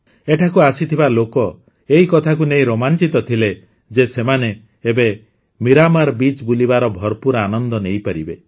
ଏଠାକୁ ଆସିଥିବା ଲୋକ ଏହି କଥାକୁ ନେଇ ରୋମାଂଚିତ ଥିଲେ ଯେ ସେମାନେ ଏବେ ମିରାମାର୍ ବିଚ୍ ବୁଲିବାର ଭରପୁର ଆନନ୍ଦ ନେଇପାରିବେ